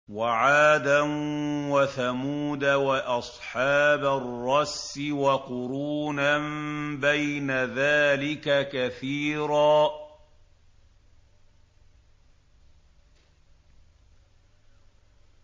وَعَادًا وَثَمُودَ وَأَصْحَابَ الرَّسِّ وَقُرُونًا بَيْنَ ذَٰلِكَ كَثِيرًا